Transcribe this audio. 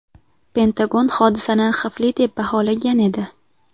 Pentagon hodisani xavfli deb baholagan edi.